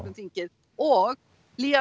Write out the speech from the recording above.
þingið og